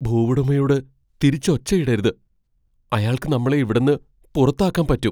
ഭൂവുടമയോട് തിരിച്ച് ഒച്ചയിടരുത്. അയാൾക്ക് നമ്മളെ ഇവിടെന്ന് പുറത്താക്കാൻ പറ്റും.